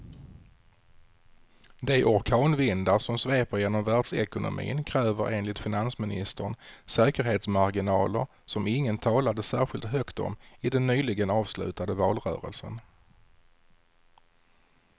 De orkanvindar som sveper genom världsekonomin kräver enligt finansministern säkerhetsmarginaler som ingen talade särskilt högt om i den nyligen avslutade valrörelsen.